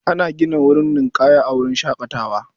Ana gina wurin ninƙaya a wurin shaƙatawar.